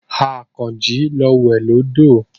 Àkànjí lọ wẹ̀ lódò.